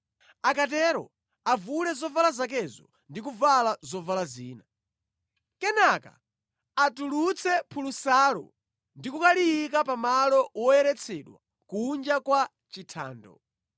Akatero avule zovala zakezo ndi kuvala zovala zina. Kenaka atulutse phulusalo ndi kukaliyika pa malo woyeretsedwa kunja kwa chithando.